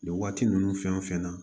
Nin waati ninnu fɛn o fɛn na